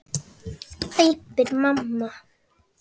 æpir mamma.